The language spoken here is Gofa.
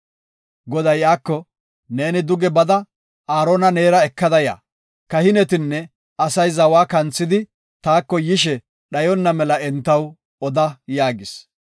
Goday iyako, “Neeni duge bada Aarona neera ekada ya. Kahinetinne asay zawa kanthidi taako yishe dhayona mela entaw oda” yaagis.